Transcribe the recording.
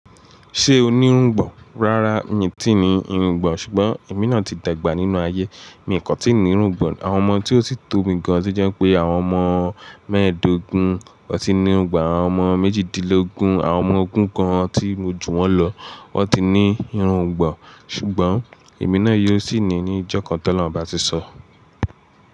Ṣé o ní irungbọ̀n? Rárá, mi ò tíì ní irungbọ̀n, ṣùgbọ́n èmi náà ti dẹ̀gbà nínú ayé. Mi kan tíì ní irungbọ̀n. Àwọn ọmọ tí ó sì tó mi gan an to jẹ́ pé àwọn ọmọ mẹ́ẹ̀ẹ́dógún ò tí ní irungbọ̀n. Àwọn ọmọ méjìdínlógún, àwọn ọmọ ogún kan tí mo jù wọ́n lọ, wọ́n ti ní irungbọ̀n. Ṣùgbọ́n, èmi náà yóò sì ní i ní ọjọ́ kan tó lọ̀run bá ti sọ.